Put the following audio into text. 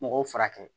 Mɔgɔw furakɛ